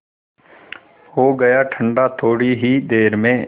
हो गया ठंडा थोडी ही देर में